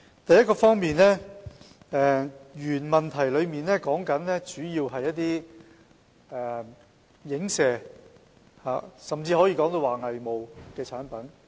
第一方面，主體質詢主要是有關一些影射，甚至可說是偽冒的產品。